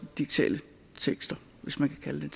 digitale tekster hvis man kan kalde